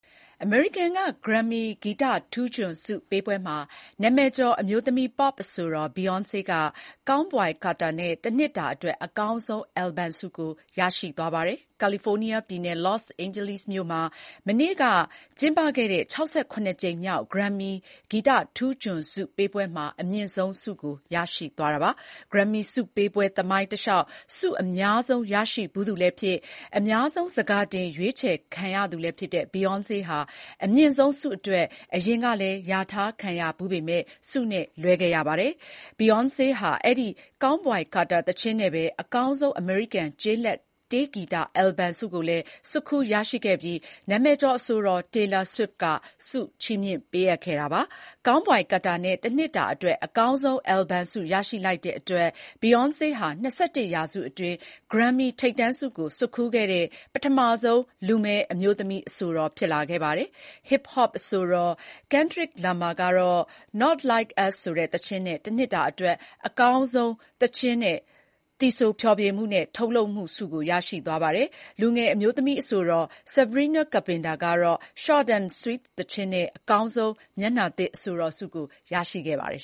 အမေရိကန်က Grammy ဂီတထူးချွန်ဆုပေးပွဲမှာ နာမည်ကျော်အမျိုးသမီး Pop အဆိုတော် Beyoncé က Cowboy Carter နဲ့ တနှစ်တာအတွက် အကောင်းဆုံး အယ်လ်ဘမ်ဆုကို ရရှိသွားပါတယ်။ California ပြည်နယ်၊ Los Angeles မြို့မှာ မနေ့ တနင်္ဂနွေနေ့ညက ကျင်းပခဲ့တဲ့ ၆၇ ကြိမ်မြောက် Grammy ဂီတထူးချွန်ဆုပေးပွဲမှာ အမြင့်ဆုံးဆု ရရှိသွားတာပါ။ Grammy ဆုပေးပွဲသမိုင်းတလျှောက် ဆုအများဆုံးရရှိဖူးသူလည်းဖြစ်၊ အများဆုံး ဆန်ခါတင် ရွေးချယ်ခံရသူလည်းဖြစ်တဲ့ Beyoncé ဟာ အမြင့်ဆုံးဆုအတွက် အရင်ကလည်း လျာထားခံရဖူးပေမဲ့ ဆုနဲ့လွဲခဲ့သူ ဖြစ်ပါတယ်။ Beyoncé ဟာ အဲဒီ Cowboy Carter သီချင်းနဲ့ပဲ အကောင်းဆုံး အမေရိကန် ကျေးလက်တေးဂီတ အယ်လ်ဘမ်ဆုကိုလည်းဆွတ်ခူးရရှိခဲ့ပြီး နာမည်ကျော် အဆိုတော် Taylor Swift က ဆုချီးမြှင့်ခဲ့တာပါ။ Cowboy Carter နဲ့ တနှစ်တာအတွက် အကောင်းဆုံး အယ်လ်ဘမ်ဆုရရှိလိုက်တဲ့အတွက် Beyoncé ဟာ ၂၁ ရာစုနှစ်အတွင်း Grammy ထိပ်တန်းဆုကို ဆွတ်ခူးတဲ့ ပထမဆုံးလူမည်း အမျိုးသမီးအဆိုတော် ဖြစ်လာခဲ့ပါတယ်။ Hip Hop အဆိုတော် Kendrick Lamar ကတော့ Not Like Us ဆိုတဲ့သီချင်းနဲ့ တနှစ်တာအတွက် အကောင်းဆုံးသီချင်းနဲ့ အကောင်းဆုံး သီဆို ဖျော်ဖြေမှုနဲ့ ထုတ်လုပ်မှုဆုကို ရရှိသွားပါတယ်။ လူငယ် အမျိုးသမီးအဆိုတော် Sabrina Carpenter ကတော့ Short N’ Sweet သီချင်းနဲ့ အကောင်းဆုံး မျက်နှာသစ်အဆိုတော်ဆုကို ရရှိသွားပါတယ်